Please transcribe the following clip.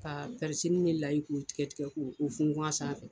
Ka ni layi k'o tigɛ tigɛ k'o funfun a sanfɛ